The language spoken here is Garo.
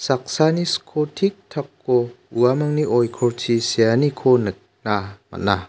saksani sko tiktako uamangni oikorchi seaniko nikna man·a.